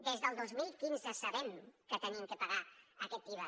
des del dos mil quinze sabem que hem de pagar aquest iva